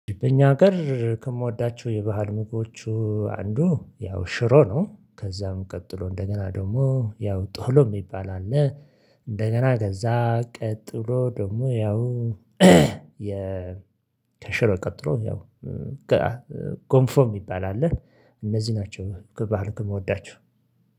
በእኛ ሀገር ከምወዳቸው የባህል ምግቦች አንዱ ያው ሽሮ ነው። ከዛም ቀጥሎ እንደገና ደግሞ ያው ጦሎ የሚባል አለ። እንደገና ከዛ ቀጥሎ ደግሞ ያው የ ከሽሮ ቀጥሎ ያው ጋአ ጎንፎም ሚባል አለ። እነዚህ ናቸው ከባህል ከምወቸው